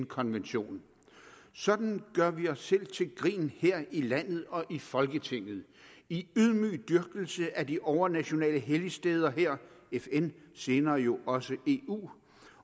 konvention sådan gør vi os selv til grin her i landet og i folketinget i ydmyg dyrkelse af de overnationale helligsteder her fn senere jo også eu